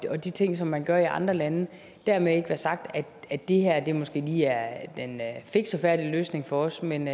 og de ting som man gør i andre lande dermed ikke være sagt at det her måske lige er den fikse og færdige løsning for os men